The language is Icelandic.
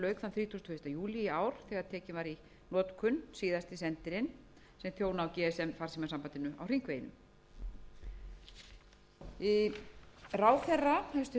í notkun síðasti sendirinn sem þjóna á gsm farsímasambandinu á hringveginum hæstvirtur samgönguráðherra sagði við það tækifæri að ekki yrði látið staðar numið í þessum efnum unnið væri